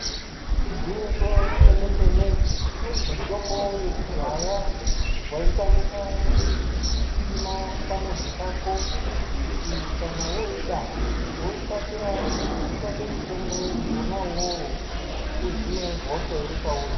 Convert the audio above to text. Igwinyiso remene-mene mitombo yekudhaya waikwanisa kuisima pamuzi pako kuti kana wooida wokasira kutsvake mutombo wona uwowo uhine hosha iri pauri.